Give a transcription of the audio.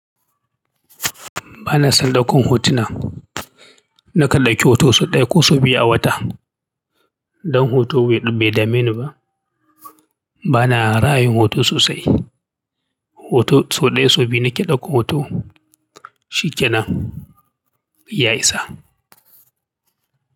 Ba na son daukan hotuna. Na kan ɗauki hoto sau ɗaya ko sau biyu a wata. Don hoto bai dame ni ba. Bana ra'ayin hoto sosai. Hoto sau ɗaya sau biyu nake ɗaukan hoto. Shikenan, ya isa.